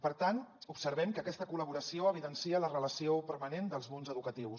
per tant observem que aquesta col·laboració evidencia la relació permanent dels mons educatius